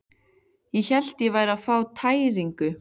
Ég hélt ég væri að fá tæringu.